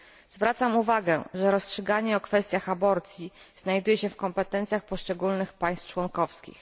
Zwracam uwagę, że rozstrzyganie o kwestiach aborcji znajduje się w kompetencjach poszczególnych państw członkowskich.